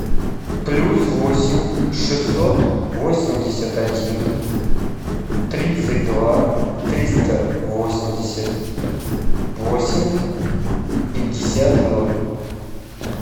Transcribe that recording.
плюс восемь шестьсот восемьдесят один тридцать два триста восемьдесят восемь пятьдесят ноль